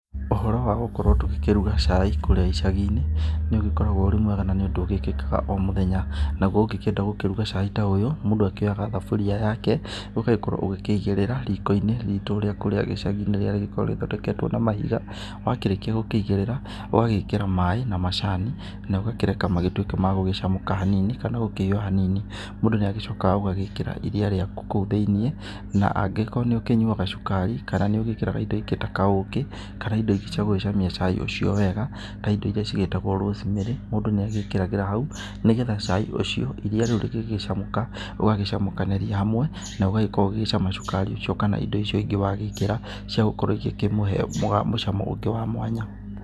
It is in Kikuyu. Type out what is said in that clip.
Ũhoro wa gũkorwo tũgĩkĩruga cai kũrĩa icagi-inĩ nĩ ũgĩkoragwo ũrĩ mwega na nĩ ũndũ ũgĩkĩkaga o mũthenya. Naguo ũngĩkĩenda gũkĩruga cai ta ũyũ mũndũ akĩoyaga thamburia yake ũgagĩkorwo ũgĩkĩigĩrĩra riko-inĩ ritũ rĩa kũrĩa gĩcagi-inĩ rĩrĩa rĩgĩkoragwo rĩthondeketwo na mahiga, wakĩrĩkia gũkĩigĩrĩra ũgagĩkĩra maĩ na macani na ũgakĩreka magĩtuĩke magũcamũka hanini kana gũkĩhiũha hanini. Mũndũ nĩ agĩcokaga ũgagĩkĩra iria rĩaku kũu thĩinĩ na angĩkorwo nĩ ũkĩnyuaga cukari kana nĩ ũgĩkĩraga indo ingĩ ta kaũkĩ kana indo ingĩ cia gũgĩcamia cai ũcio wega ta indo irĩa ciĩtagwo rosemary mũndũ nĩ agĩkĩragĩra hau nĩgetha cai ũcio iria rĩu rĩgĩgĩcamũka ũgagĩcamũkanĩria hamwe na ũgagĩkorwo ũgĩcama cukari ũcio kana indo icio ingĩ wagĩkĩra ciagũkorwo igĩkĩmũhe mũcamo ũngĩ wa mwanya.